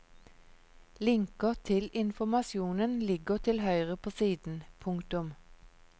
Linker til informasjonen ligger til høyre på siden. punktum